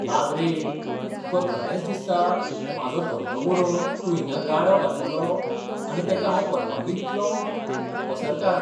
बाब रे, तुका खरेंच दिसता, म्हाजो धंदो बुडोवन तूं हिंगा गाडो घालतलो, आनी तेका हांव परवानगी दितलों? पसरकार